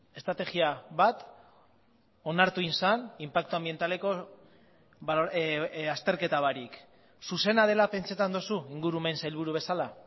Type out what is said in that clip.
estrategia bat onartu egin zen inpaktu anbientaleko azterketa barik zuzena dela pentsatzen duzu ingurumen sailburu bezala